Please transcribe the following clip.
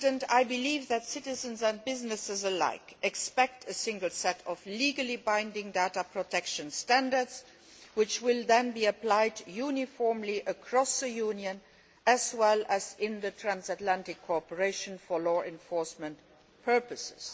I believe that citizens and businesses alike expect a single set of legally binding data protection standards, which will then be applied uniformly across the Union, as well as to transatlantic cooperation for law enforcement purposes.